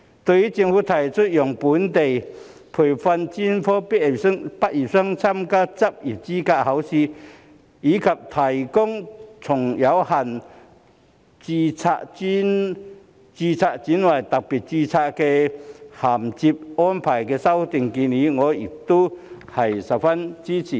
對於政府提出讓非本地培訓專科畢業生參加執業資格試，以及提供從有限度註冊轉為特別註冊的銜接安排的修訂建議，我亦十分支持。